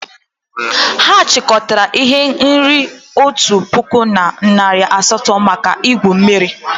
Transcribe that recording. Ha chịkọtara ihe nrite otu puku na narị asatọ maka igwu mmiri.